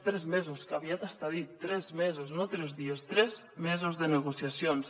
tres mesos que aviat està dit tres mesos no tres dies tres mesos de negociacions